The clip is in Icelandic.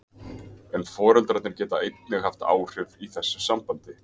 En foreldrarnir geta einnig haft áhrif í þessu sambandi.